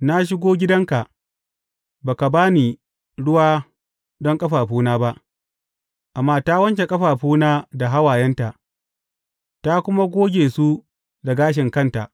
Na shigo gidanka, ba ka ba ni ruwa don ƙafafuna ba, amma ta wanke ƙafafuna da hawayenta, ta kuma goge su da gashin kanta.